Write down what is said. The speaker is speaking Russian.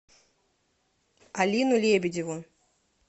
алину лебедеву